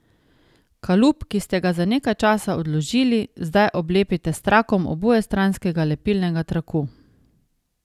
Kalup, ki ste ga za nekaj časa odložili, zdaj oblepite s trakom obojestranskega lepilnega traku.